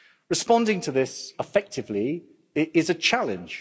Responding to this effectively is a challenge.